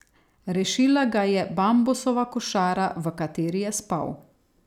Rešila ga je bambusova košara, v kateri je spal.